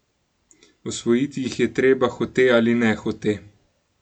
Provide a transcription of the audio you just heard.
Osvojiti jih je treba, hote ali nehote.